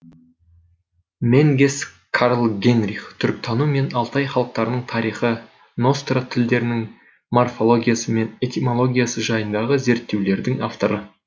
менгес карл генрих түркітану мен алтай халықтарының тарихы ностра тілдерінің морфологиясы мен этимологиясы жайындағы зерттеулердің авторы